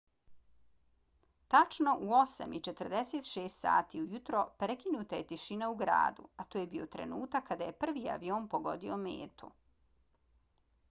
tačno u 8:46 sati ujutro prekinuta je tišina u gradu a to je bio trenutak kada je prvi avion pogodio metu